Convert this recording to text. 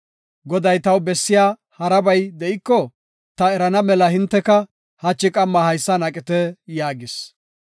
Goday taw bessiya harabay de7iko ta erana mela hinteka hachi qamma haysan aqite” yaagis.